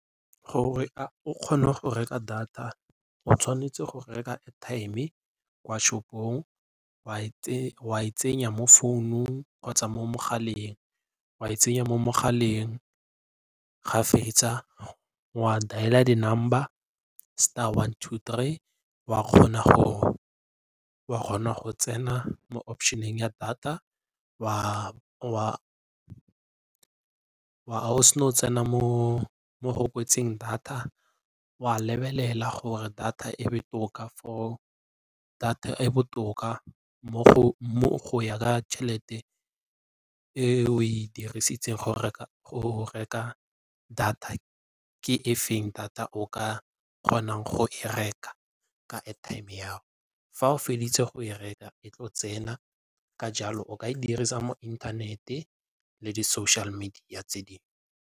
Gore o kgone go reka data o tshwanetse go reka airtime kwa shop-ong wa e tsenya mo founung kgotsa mo mogaleng, wa e tsenya mo mogaleng ga fetsa wa dialer di-number, star, one, two, three wa kgona go tsena mo option-eng ya data. Fa o se na go tsena mo go kwetsweng data wa lebelela gore data e botoka go ya ka tšhelete eo e dirisitseng go reka data ke efeng data o ka kgonang go e reka ka airtime ya gao. Fa o feditse go e reka e tlo tsena ka jalo o ka e dirisa mo internet-e le di social media tse dingwe.